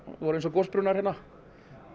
voru eins og gosbrunnar hérna